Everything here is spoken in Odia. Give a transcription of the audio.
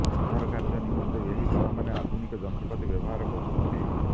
ଉଦ୍ଧାର କାର୍ଯ୍ୟ ନିମନ୍ତେ ଏହି ଦଳମାନେ ଆଧୁନିକ ଯନ୍ତ୍ରପାତି ବ୍ୟବହାର କରୁଛନ୍ତି